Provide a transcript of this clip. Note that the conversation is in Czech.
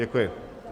Děkuji.